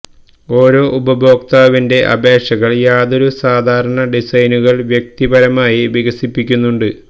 ഓരോ ഉപഭോക്താവിന്റെ അപേക്ഷകൾ യാതൊരു സാധാരണ ഡിസൈനുകൾ വ്യക്തിപരമായി വികസിപ്പിക്കുന്നു ഉണ്ട്